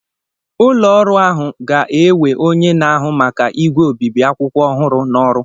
ụlọ ọrụ ahụ ga-ewe onye na-ahụ maka igwe obibi akwụkwọ ọhụrụ n'ọrụ